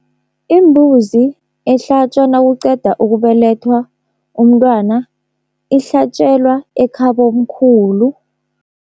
Imbuzi ehlatjwa nakuqeda ukubelethwa umntwana, ihlatjelwa ekhabomkhulu.